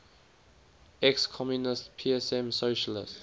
ex communist psm socialist